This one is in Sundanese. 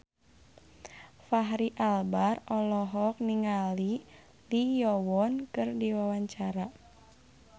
Fachri Albar olohok ningali Lee Yo Won keur diwawancara